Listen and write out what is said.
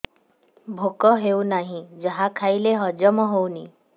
ଭୋକ ହେଉନାହିଁ ଯାହା ଖାଇଲେ ହଜମ ହଉନି